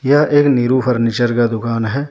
यह एक नीरू फर्नीचर का दुकान है।